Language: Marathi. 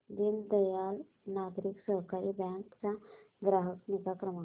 दीनदयाल नागरी सहकारी बँक चा ग्राहक निगा क्रमांक